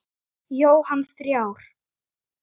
Það er undir okkur komið.